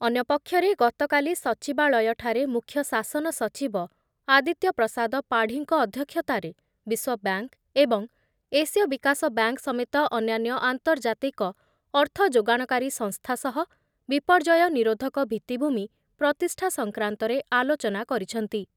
ଅନ୍ୟ ପକ୍ଷରେ ଗତକାଲି ସଚିବାଳୟଠାରେ ମୁଖ୍ୟ ଶାସନ ସଚିବ ଆଦିତ୍ୟ ପ୍ରସାଦ ପାଢ଼ିଙ୍କ ଅଧ୍ୟକ୍ଷତାରେ ବିଶ୍ଵ ବ୍ୟାଙ୍କ ଏବଂ ଏସିୟ ବିକାଶ ବ୍ୟାଙ୍କ୍ ସମେତ ଅନ୍ୟାନ୍ୟ ଆନ୍ତର୍ଜାତିକ ଅର୍ଥଯୋଗାଣକାରୀ ସଂସ୍ଥା ସହ ବିପର୍ଯ୍ୟୟ ନିରୋଧକ ଭିତ୍ତିଭୂମି ପ୍ରତିଷ୍ଠା ସଂକ୍ରାନ୍ତରେ ଆଲୋଚନା କରିଛନ୍ତି ।